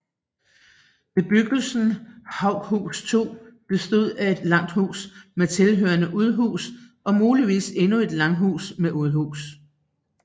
Bebyggelsen Haughus 2 bestod af et langhus med tilhørende udhus og muligvis endnu et langhus med udhus